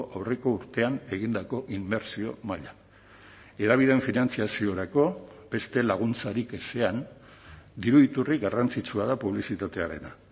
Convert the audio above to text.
aurreko urtean egindako inbertsio maila hedabideen finantzaziorako beste laguntzarik ezean diru iturri garrantzitsua da publizitatearena